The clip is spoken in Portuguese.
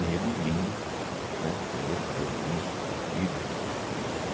negro, lindo, né negro cabelo liso, comprido.